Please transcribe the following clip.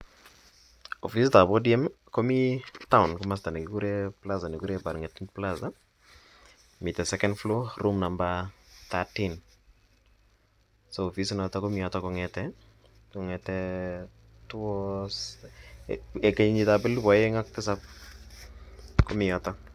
Ofisit ap ODM komi taon plaza ne kikure Barng'etuny plaza. Mitei second floor room number 13.Ofisit notok komitei yotok kong'ete kenyit ap elipu aeng' ak tisap komi yotok.